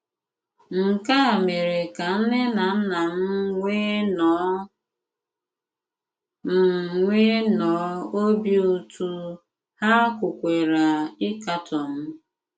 Nkè à mèrè kà nnè nà nnà m nwèè nnọọ m nwèè nnọọ òbì ùtù, hà kwùkwàrà ịkàtọ m.